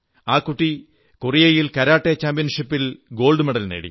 ആ കുട്ടി കൊറിയയിൽ കരാട്ടേ ചാമ്പ്യൻഷിപ്പിൽ സ്വർണ്ണ മെഡൽ നേടി